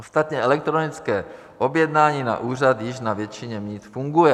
Ostatně elektronické objednání na úřad již na většině míst funguje.